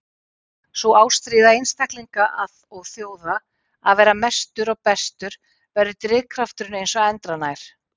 Sú ástríða einstaklinga og þjóða að vera mestur og bestur verður drifkrafturinn eins og endranær.